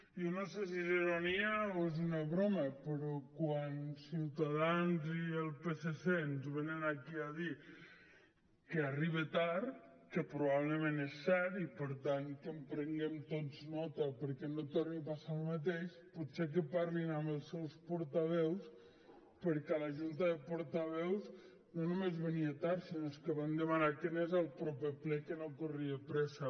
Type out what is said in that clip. jo no sé si és ironia o és una broma però quan ciutadans i el psc ens venen aquí a dir que arriba tard que probablement és cert i per tant que en prenguem tots nota perquè no torni a passar el mateix potser que parlin amb els seus portaveus perquè a la junta de portaveus no només venia tard sinó que van demanar que anés al proper ple que no corria pressa